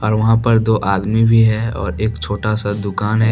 और वहां पर दो आदमी भी है और एक छोटा सा दुकान है।